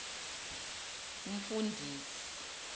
umfundisi